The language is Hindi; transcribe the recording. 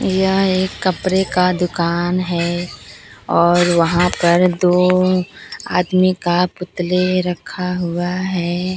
यह एक कपरे का दुकान है और वहां पर दो आदमी का पुतले रखा हुआ हैं।